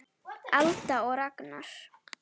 Alda og Ragnar.